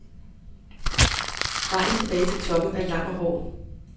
Vejen tilbage til toppen er lang og hård.